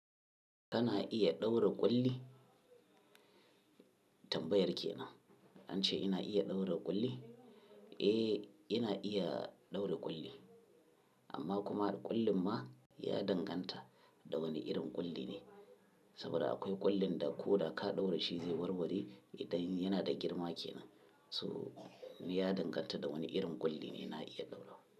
Kana iya ɗaura ƙulli? Tambayar kenan, an ce ina iya ɗaura ƙulli? Eh ina iya ɗaura ƙulli amma kuma ƙullin ma ya danganta da wane irin ƙulli ne. Saboda akwai ƙullin da ko da ka ɗaura shi zai warware idan yana da girma kenan. So ya danganta da wani irin ƙulli ne na iya ɗaura.